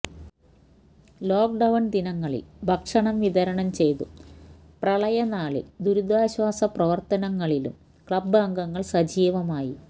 lock down ദിനങ്ങളില് ഭക്ഷണം വിതരണം ചെയ്തും പ്രളയനാളില് ദുരിതാശ്വാസ പ്രവര്ത്തനങ്ങളിലും ക്ലബ് അംഗങ്ങള് സജീവമായി